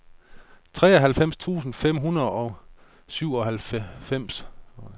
treoghalvfems tusind fem hundrede og syvoghalvfems